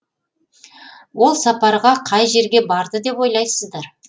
ол сапарға қай жерге барды деп ойлайсыздар